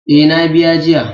Eh, na biya jiya.